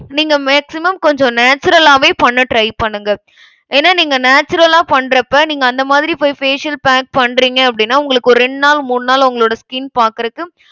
நீங்க maximum கொஞ்சம் natural ஆவே பண்ண try பண்ணுங்க. ஏன்னா நீங்க natural லா பண்றப்ப நீங்க அந்த மாதிரி போய் facial pack பண்றிங்க அப்டினா உங்களுக்கு ஒரு ரெண்டு நாள் மூணு நாள் உங்களோட skin பாக்கறக்கு